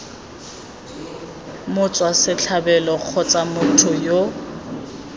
motswa setlhabelo kgotsa motho yo